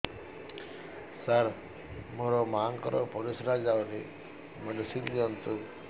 ସାର ମୋର ମାଆଙ୍କର ପରିସ୍ରା ଯାଉନି ମେଡିସିନ ଦିଅନ୍ତୁ